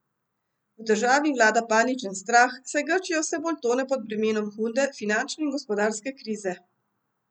V državi vlada paničen strah, saj Grčija vse bolj tone pod bremenom hude finančne in gospodarske krize.